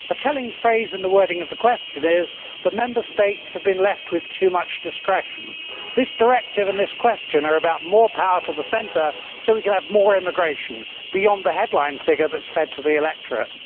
A telling phrase in the wording of the question is that Member States have been left with too much discretion. This directive and this question are about more power to the centre, so that we can have more immigration beyond the headline figure which is fed to the electorate.